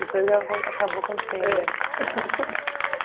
E foi o que abo acabou acontecendo. É